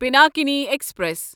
Pinakini express